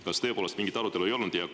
Kas tõepoolest mingit arutelu ei olnud?